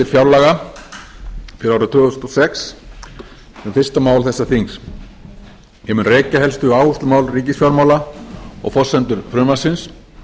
fjárlaga fyrir árið tvö þúsund og sex sem er fyrsta mál þessa þings ég mun rekja helstu áherslumál ríkisfjármála og forsendur frumvarpsins